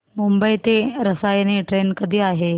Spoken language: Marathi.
मुंबई ते रसायनी ट्रेन कधी आहे